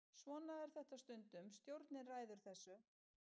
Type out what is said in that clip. Svona er þetta stundum, stjórnin ræður þessu.